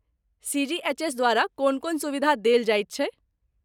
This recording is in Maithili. सी.जी.एच.एस. द्वारा कोन कोन सुविधा देल जाइत छैक?